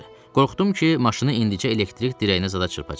Qorxdum ki, maşını indicə elektrik dirəyinə zada çırpacaq.